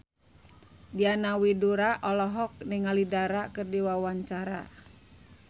Diana Widoera olohok ningali Dara keur diwawancara